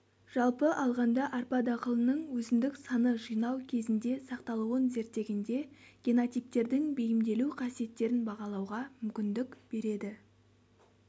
жалпы алғанда арпа дақылының өсімдік саны жинау кезінде сақталуын зерттегенде генотиптердің бейімделу қасиеттерін бағалауға мүмкіндік береді